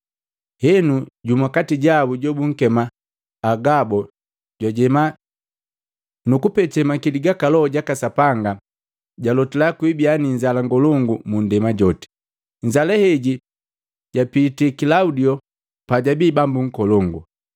Henu, jumu katijabu jobunkema Agabo jwajema, nukupete makili gaka Loho jaka Sapanga jalotila kwibia niinzala ngolongu mu ndema joti. Inzala heji japiti Kilaudio pa jabii bambu nkolongu.